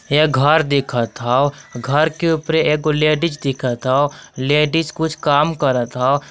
ये घर दिखत हौ घर के उपरे एगो लेडीज दिखत हौ लेडीज कुछ काम करत हौ।